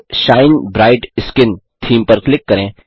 अब shine bright skin theme पर click करें